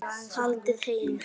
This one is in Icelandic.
Haldið heim